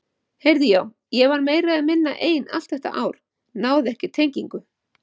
Heyrðu já, ég var meira eða minna ein allt þetta ár, náði ekki tengingu.